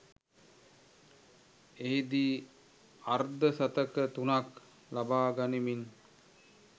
එහිදී අර්ධ ශතක තුනක් ලබා ගනිමින්